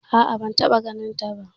A'a ban taɓa ganin ta ba